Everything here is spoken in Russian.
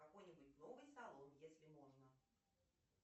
какой нибудь новый салон если можно